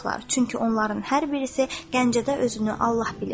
Çünki onların hər birisi Gəncədə özünü Allah bilir.